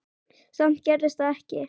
Samt gerðist það ekki.